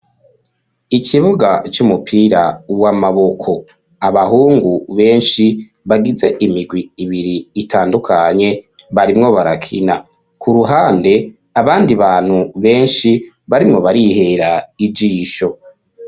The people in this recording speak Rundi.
Ikibuga c'umupira w'amaboko abahungu benshi bagize imigwi ibiri itandukanye barimwo barakina ku ruhande abandi bantu benshi barimwo barihera ijisho.